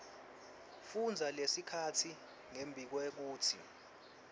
fundza lelikhasi ngembikwekutsi